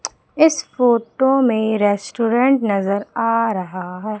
इस फोटो में रेस्टोरेंट नजर आ रहा है।